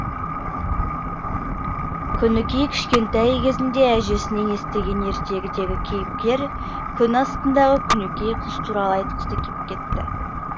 күнікей кішкентай кезінде әжесінен естіген ертегідегі кейіпкер күн астындағы күнікей қыз туралы айтқысы кеп кетті